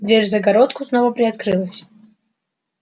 дверь в загородку снова приоткрылась